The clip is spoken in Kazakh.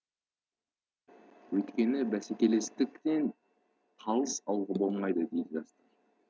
өйткені бәсекелестіктен қалыс қалуға болмайды дейді